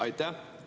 Aitäh!